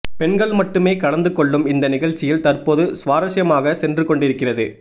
பெண்கள் மட்டுமே கலந்து கொள்ளும் இந்த நிகழ்ச்சியில் தற்போது சுவாரஸ்யமாக சென்று கொண்டிருக்கிறது